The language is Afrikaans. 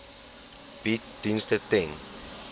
bied dienste ten